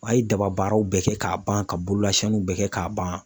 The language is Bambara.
A ye daba baaraw bɛɛ kɛ k'a ban ka bololasiyanniw bɛɛ kɛ k'a ban.